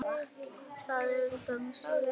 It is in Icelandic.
Það er æði langt síðan.